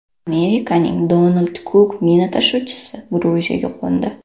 Amerikaning Donald Cook mina tashuvchisi Gruziyaga qo‘ndi.